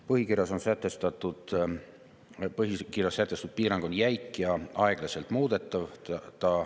Põhikirjas sätestatud piirang on jäik ja aeglaselt muudetav.